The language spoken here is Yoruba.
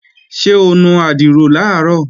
Ṣé o nu àdìrò làárọ̀?